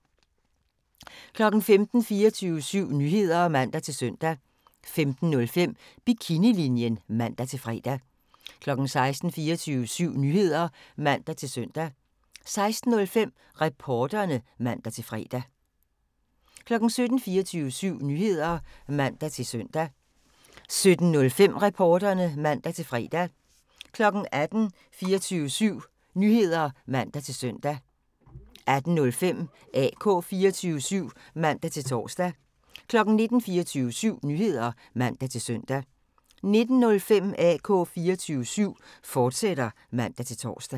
15:00: 24syv Nyheder (man-søn) 15:05: Bikinilinjen (man-fre) 16:00: 24syv Nyheder (man-søn) 16:05: Reporterne (man-fre) 17:00: 24syv Nyheder (man-søn) 17:05: Reporterne (man-fre) 18:00: 24syv Nyheder (man-søn) 18:05: AK 24syv (man-tor) 19:00: 24syv Nyheder (man-søn) 19:05: AK 24syv, fortsat (man-tor)